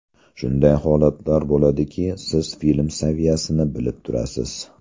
Shunday holatlar bo‘ladiki, siz film saviyasini bilib turasiz.